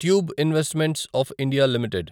tube investments of India limited